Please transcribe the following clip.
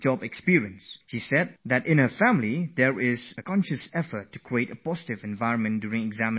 She writes that in her family during exams there is a constant effort to create a positive atmosphere